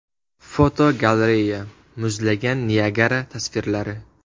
Fotogalereya: Muzlagan Niagara tasvirlari.